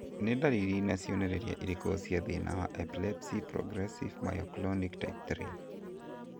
Nĩ ndariri na cionereria irĩkũ cia thĩna wa Epilepsy progressive myoclonic type 3?